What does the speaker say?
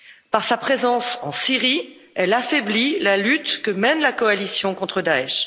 Par sa présence en Syrie, elle affaiblit la lutte que mène la coalition contre Daech.